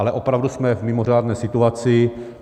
Ale opravdu jsme v mimořádné situaci.